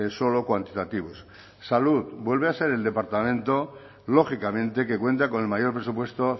solo cuantitativos salud vuelve a ser el departamento lógicamente que cuenta con el mayor presupuesto